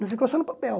Não ficou só no papel.